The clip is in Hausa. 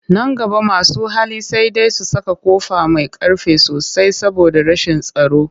Nan gaba masu hali sai dai su saka ƙofa mai ƙ arfi sosai saboda rashin tsaro